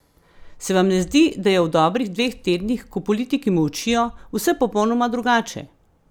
Se vam ne zdi, da je v dobrih dveh tednih, ko politiki molčijo, vse popolnoma drugače?